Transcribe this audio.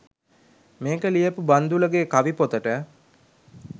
මේක ලියපු බන්දුලගෙ කවි පොතට